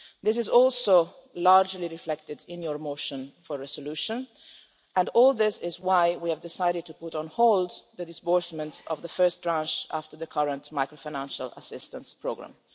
This is also largely reflected in your motion for a resolution, and all this is why we have decided to put on hold the disbursement of the first tranche after the current macro-financial assistance programme.